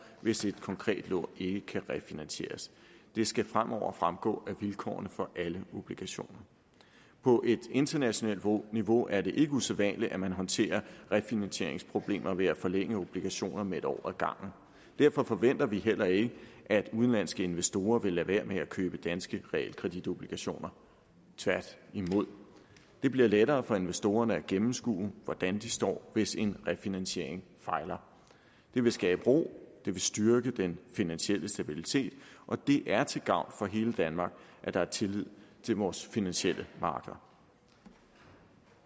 hvis et konkret lån ikke kan refinansieres det skal fremover fremgå af vilkårene for alle obligationer på et internationalt niveau er det ikke usædvanligt at man håndterer refinansieringsproblemer ved at forlænge obligationer med en år ad gangen derfor forventer vi heller ikke at udenlandske investorer vil lade være med at købe danske realkreditobligationer tværtimod det bliver lettere for investorerne at gennemskue hvordan de står hvis en refinansiering fejler det vil skabe ro det vil styrke den finansielle stabilitet og det er til gavn for hele danmark at der er tillid til vores finansielle markeder